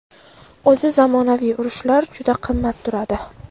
O‘zi zamonaviy urushlar juda qimmat turadi.